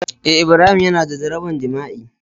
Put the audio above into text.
Eh Ibrahim Yana da jaraban jima'i